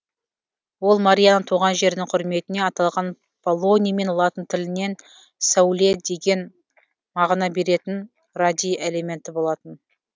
ол марияның туған жерінің құрметіне аталған полоний мен латын тілінен сәуле деген мағына беретін радий элементі болатын